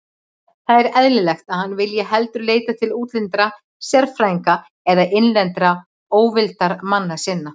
Það er eðlilegt, að hann vilji heldur leita til útlendra sérfræðinga en innlendra óvildarmanna sinna.